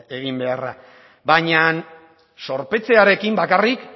egin beharra baina zorpetzearekin bakarrik